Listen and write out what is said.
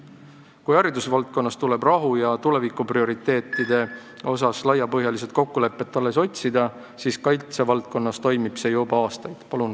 Kui haridusvaldkonnas tuleb rahu ja tulevikuprioriteetide osas laiapõhjalist kokkulepet alles otsida, siis kaitsevaldkonnas on see juba aastaid toiminud.